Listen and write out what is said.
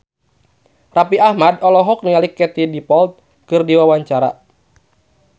Raffi Ahmad olohok ningali Katie Dippold keur diwawancara